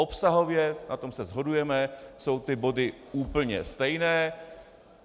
Obsahově, na tom se shodujeme, jsou ty body úplně stejné.